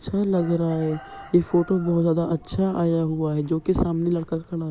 अच्छा लग रहा है| ये फोटो बहोत ज्यादा अच्छा आया हुआ है जोकि सामने लड़का खड़ा--